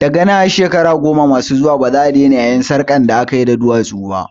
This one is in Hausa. Daga nan har shekaru goma masu zuwa baza'a daina yayin sarƙar da akayi da duwatsu ba